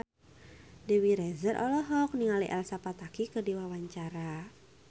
Dewi Rezer olohok ningali Elsa Pataky keur diwawancara